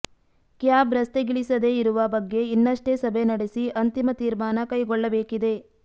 cab ರಸ್ತೆಗಿಳಿಸದೇ ಇರುವ ಬಗ್ಗೆ ಇನ್ನಷ್ಟೇ ಸಭೆ ನಡೆಸಿ ಅಂತಿಮ ತೀರ್ಮಾನ ಕೈಗೊಳ್ಳಬೇಕಿದೆ